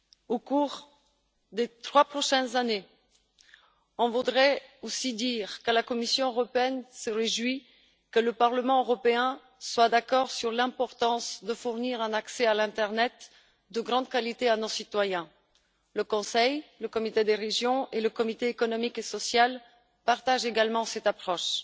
Au cours des trois prochaines années, je voudrais aussi dire que la Commission européenne se réjouit que le Parlement européen soit d'accord sur l'importance de fournir un accès à l'internet de grande qualité à nos citoyens. Le Conseil, le Comité des régions et le Comité économique et social partagent également cette approche.